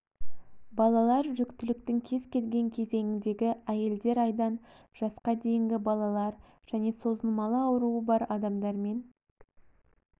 балалар жүктіліктің кез келген кезеңіндегі әйелдер айдан жасқа дейінгі балалар және созылмалы ауруы бар адамдармен